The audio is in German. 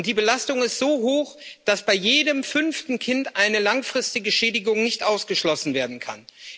Die Belastung ist so hoch, dass bei jedem fünften Kind eine langfristige Schädigung nicht ausgeschlossen werden kann.